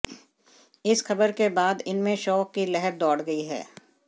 इस खबर के बाद इनमें शोक की लहर दौड़ गई है